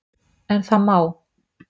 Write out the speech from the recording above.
En það má!